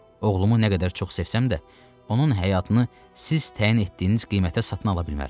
Oğlumu nə qədər çox sevsəm də, onun həyatını siz təyin etdiyiniz qiymətə satın ala bilmərəm.